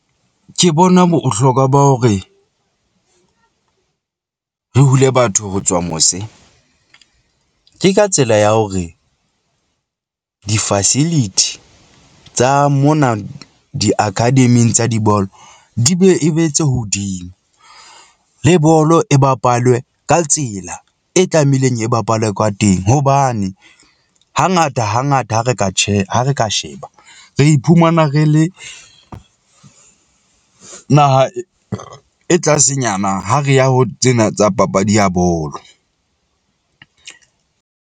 Ke bona bohlokwa ba hore re hule batho ho tswa mose . Ke ka tsela ya hore di-facility tsa mona di akademing tsa dibolo di be e be tse hodimo le bolo e bapalwe ka tsela e tlameileng e bapalwe ka teng, hobane hangata hangata ha re ha re ka sheba, re iphumana re le naha e tlasenyana ha re ya ho tsena tsa papadi ya bolo .